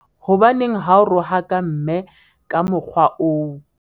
hobaneng ha o rohaka mme ka mokgwa oo?